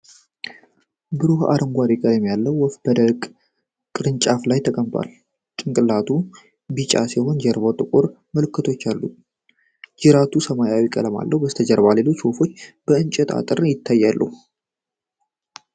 ብሩህ አረንጓዴ ቀለም ያለው ወፍ በደረቅ ቅርንጫፍ ላይ ተቀምጧል። ጭንቅላቱ ቢጫ ሲሆን ጀርባው ጥቁር ምልክቶች አሉት። ጅራቱ ሰማያዊ ቀለም አለው። ከበስተጀርባ ሌሎች ወፎችና የእንጨት አጥር ይታያሉ።